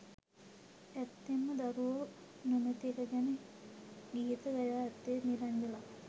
ඇත්තෙන්ම දරුවෝ නොමැති එක ගැන ගීත ගයා ඇත්තේ නිරංජලා.